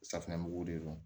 Safinɛmugu de don